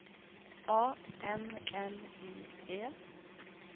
A N N I E